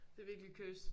Det virkelig cursed